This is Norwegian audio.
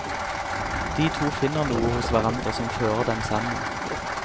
De to finner noe hos hverandre som fører dem sammen.